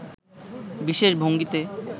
বিশেষ ভঙ্গিতে